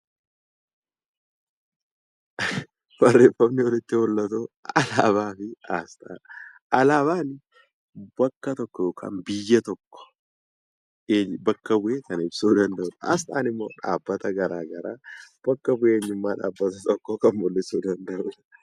Alaabaan wanta tokko yookiin biyya tokko bakka bu'ee kan ibsudha. Asxaan immoo dhaabbata garaagaraa bakka bu'ee maalummaa dhaabbata tokkoo kan ibsuu danda'u jechuudha.